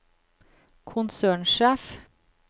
konsernsjef